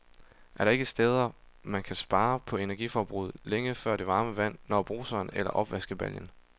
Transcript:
Er der ikke steder, man kan spare på energiforbruget, længe før det varme vand når bruseren eller opvaskebaljen?